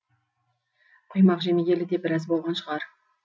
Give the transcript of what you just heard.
құймақ жемегелі де біраз болған шығар